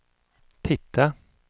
titta